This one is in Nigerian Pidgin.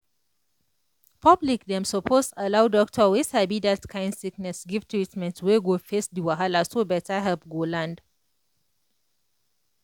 public dem suppose allow doctor wey sabi that kind sickness give treatment wey go face the wahala so better help go land.